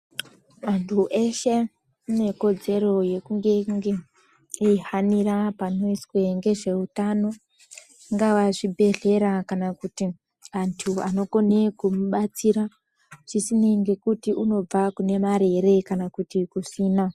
Antu eshe anekodzero yekunge- nge eyihanira panoyizwa ngezveutano, zvingava zvibhedhlera kana kuti antu anokone kumubatsira, zvisineyi ngekuti unobva kune mari ere kana kuti kusina.